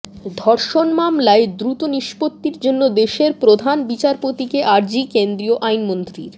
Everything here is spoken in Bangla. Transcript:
ধর্ষণ মামলার দ্রুত নিষ্পত্তির জন্য দেশের প্রধান বিচারপতিকে আর্জি কেন্দ্রীয় আইনমন্ত্রীর